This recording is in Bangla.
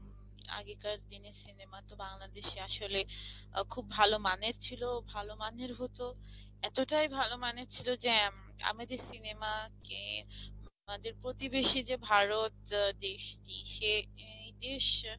আগেকার দিনের cinema তো বাংলাদেশে আসলে খুব ভালো মানের ছিল, ভাল মানের হত এতটাই ভালো মানের ছিল যে আমাদের cinema কে আমাদের প্রতিবেশী যে ভারত দেশটি সে নিজের